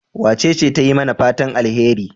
Wacece ta yi mana fatan alheri?